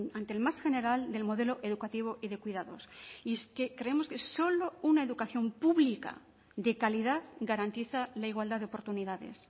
ante el más general del modelo educativo y de cuidados y es que creemos que solo una educación pública de calidad garantiza la igualdad de oportunidades